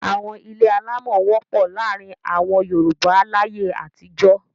Àwọn ilé alámọ̀ wọ́pọ̀ láàárin àwọn Yorùbá láyé àtijó.